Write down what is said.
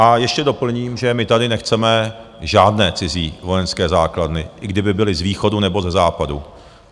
A ještě doplním, že my tady nechceme žádné cizí vojenské základny, i kdyby byly z východu, nebo ze západu.